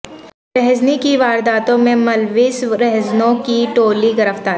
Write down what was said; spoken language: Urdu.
رہزنی کی وارداتوں میں ملوث رہزنوں کی ٹولی گرفتار